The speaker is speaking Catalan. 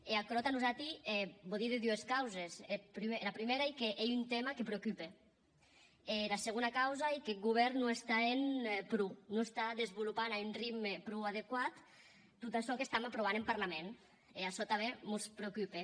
e aquerò tà nosati vò díder dues causes era prumèra ei qu’ei un tèma que preocupe e era segona causa ei qu’eth govèrn non està hènt pro non està desvolopant a un ritme pro adequat tot açò qu’estam aprovant en parlament e açò tanben mos preocupe